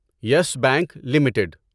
yes Bank limited